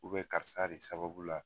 Ubɛ karisa de sababu la